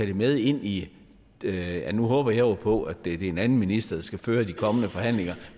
det med ind i ja nu håber jeg jo på det er en anden minister der skal føre de kommende forhandlinger